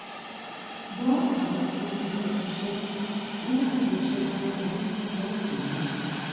bọ́ àwọn tí wọ́n jọ ń ṣiṣẹ́ nígbà tí iṣẹ́ bá ń parí lọ́sàn-án